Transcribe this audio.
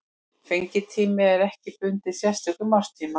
Fengitími er ekki bundinn sérstökum árstíma.